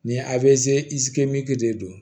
Nin a de don